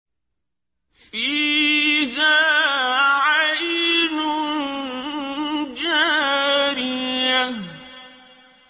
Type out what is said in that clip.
فِيهَا عَيْنٌ جَارِيَةٌ